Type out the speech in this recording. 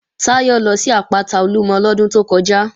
Táyọ̀ lọ sí àpáta Olúmọ lọ́dún tó kọjá